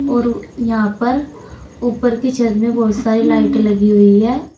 और यहां पर ऊपर की छत में बहुत सारी लाइटें लगी हुई हैं।